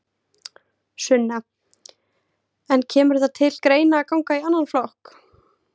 Sunna: En kemur það til greina að ganga í annan flokk?